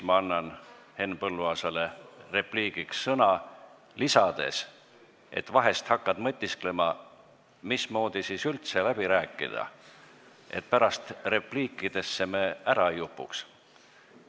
Ma annan Henn Põlluaasale repliigiks sõna, lisades, et vahel hakkad mõtisklema, mismoodi siis üldse läbi rääkida, et me pärast repliikidesse ära ei upuks.